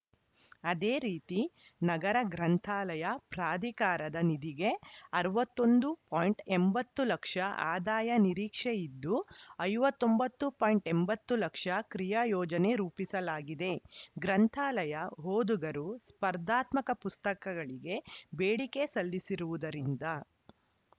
ಅದೇ ರೀತಿ ನಗರ ಗ್ರಂಥಾಲಯ ಪ್ರಾಧಿಕಾರದ ನಿಧಿಗೆ ಅರವತ್ತ್ ಒಂದು ಪಾಯಿಂಟ್ ಎಂಬತ್ತು ಲಕ್ಷ ಆದಾಯ ನಿರೀಕ್ಷೆ ಇದ್ದು ಐವತ್ತ್ ಒಂಬತ್ತು ಪಾಯಿಂಟ್ ಎಂಬತ್ತು ಲಕ್ಷ ಕ್ರಿಯಾ ಯೋಜನೆ ರೂಪಿಸಲಾಗಿದೆ ಗ್ರಂಥಾಲಯ ಓದುಗರು ಸ್ಪರ್ಧಾತ್ಮಕ ಪುಸ್ತಕಗಳಿಗೆ ಬೇಡಿಕೆ ಸಲ್ಲಿಸಿರುವುದರಿಂದ